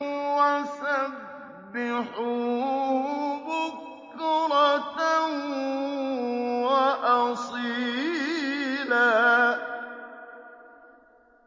وَسَبِّحُوهُ بُكْرَةً وَأَصِيلًا